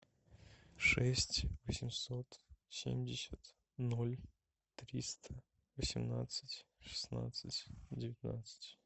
шесть восемьсот семьдесят ноль триста восемнадцать шестнадцать девятнадцать